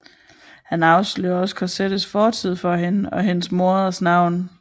Han afslører også Cosettes fortid for hende og hendes moders navn